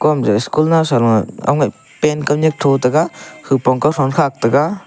school nowsam pant kaw nyak tho taiga hupong .